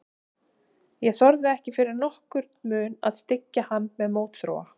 Ég þorði ekki fyrir nokkurn mun að styggja hann með mótþróa.